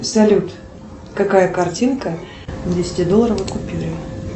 салют какая картинка на десятидолларовой купюре